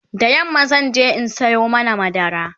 da yamma zanje in Sayo mana madara